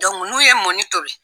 n'u ye mɔni tobi.